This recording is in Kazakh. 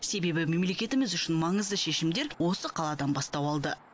себебі мемлекетіміз үшін маңызды шешімдер осы қаладан бастау алды